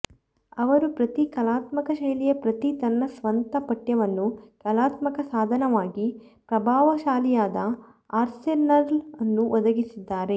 ಅವರು ಪ್ರತಿ ಕಲಾತ್ಮಕ ಶೈಲಿಯ ಪ್ರತಿ ತನ್ನ ಸ್ವಂತ ಪಠ್ಯವನ್ನು ಕಲಾತ್ಮಕ ಸಾಧನವಾಗಿ ಪ್ರಭಾವಶಾಲಿಯಾದ ಆರ್ಸೆನಲ್ ಅನ್ನು ಒದಗಿಸಿದ್ದಾರೆ